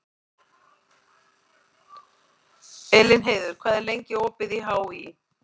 Elínheiður, hvað er lengi opið í HÍ?